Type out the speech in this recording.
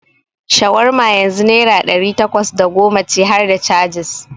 Shawarma yanzu naira ɗari takwas da goma ce harda cajis.